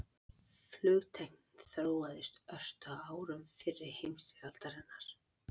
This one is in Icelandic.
Flugtæknin þróaðist ört á árum fyrri heimsstyrjaldarinnar.